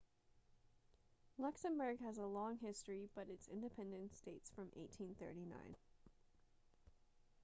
luxembourg has a long history but its independence dates from 1839